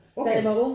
Okay